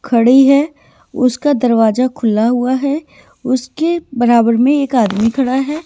खड़ी है उसका दरवाजा खुला हुआ है उसके बराबर में एक आदमी खड़ा है।